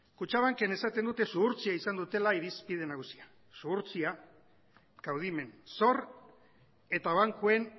kutxabanken esaten dute zuhurtzia izan dutela irizpide nagusia zuhurtzia kaudimen zor eta bankuen